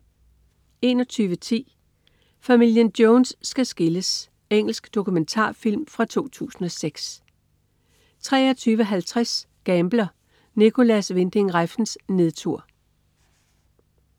21.10 Familien Jones skal skilles. Engelsk dokumentarfilm fra 2006 23.50 Gambler (Nicolas Winding Refns nedtur)